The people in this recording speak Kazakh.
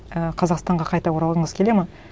і қазақстанға қайта оралғыңыз келеді ме